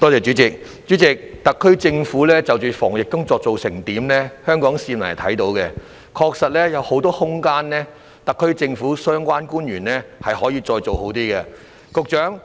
主席，特區政府在防疫工作方面的表現，香港市民是看得到的，特區政府的相關官員確實有很多空間可以做得更好。